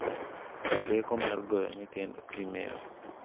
Rieko mar goyo nyithindo Kimeo